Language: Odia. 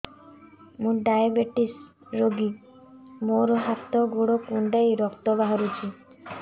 ମୁ ଡାଏବେଟିସ ରୋଗୀ ମୋର ହାତ ଗୋଡ଼ କୁଣ୍ଡାଇ ରକ୍ତ ବାହାରୁଚି